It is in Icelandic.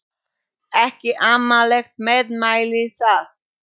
Ekki amaleg meðmæli það.